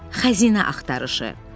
Xəzinə axtarışı.